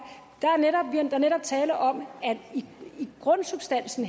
der er netop tale om at grundsubstansen